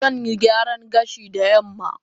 Zan yi gyaran gashi da yamma